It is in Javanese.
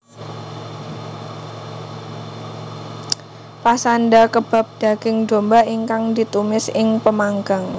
Pasanda kebab daging domba ingkang ditumis ing pemanggang